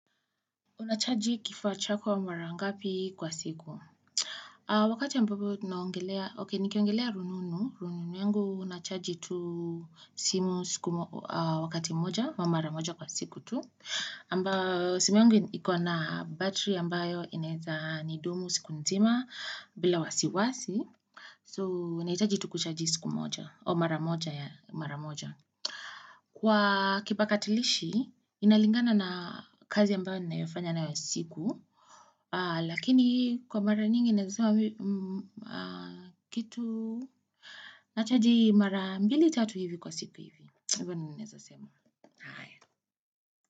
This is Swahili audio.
Unachaji kifuwa chako wa mara ngapi kwa siku. Wakati ambapo naongelea, okei, nikiongelea rununu. Rununu yangu nachaji tu simu wakati moja au mara moja kwa siku tu. Ambao, simu yangu iko na battery ambayo inaeza ni dumu siku mzima bila wasiwasi. So, unaitaji tu kuchaji siku moja au mara moja yaani mara moja. Kwa kipakatilishi, inalingana na kazi ambayo ninayofanya na yosiku. Lakini kwa mara nyingi naezasema kitu Nachaji mara mbili tatu hivi kwa siku hivi Hivyo na naezasema.